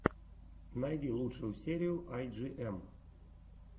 найди лучшую серию ай джи эм